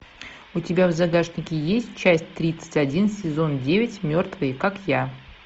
у тебя в загашнике есть часть тридцать один сезон девять мертвые как я